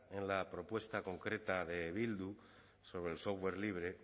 en la propuesta concreta de bildu sobre el software libre